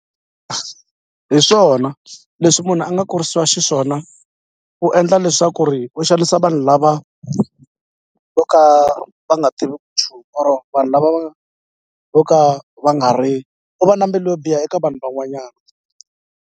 Hi swona leswi munhu a nga kurisiwa xiswona u endla leswaku ri u xanisa vanhu lava vo ka va nga tiviki nchumu or vanhu lava va vo ka va nga ri u va na mbilu yo biha eka vanhu van'wanyana.